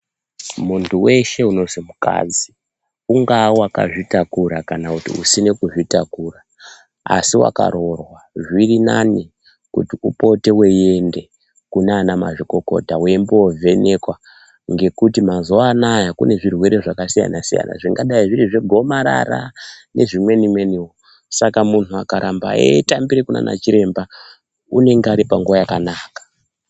Muntu weshe unonzi mukadzi, unogona unonga akazvitakura kana usina kuzvitakura asi wakaroorwa, zvirinani kuti upote weienda kuna anamazvikokota weimbovhenekwa ngekuti mazuva anaya kune zvirwere zvakasiyana-siyana ,zvingadai zviri zvegomarara nezvimweni mweniwo. Saka muntu akaramba eitambira kunana chiremba unenge ari panguva yakanaka.